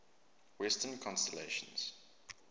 western constellations